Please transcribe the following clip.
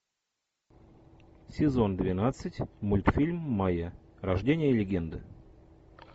сезон двенадцать мультфильм майя рождение легенды